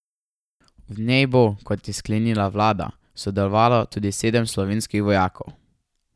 V njej bo, kot je sklenila vlada, sodelovalo tudi sedem slovenskih vojakov.